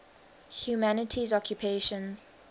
humanities occupations